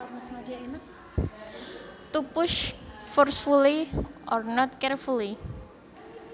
To push forcefully or not carefully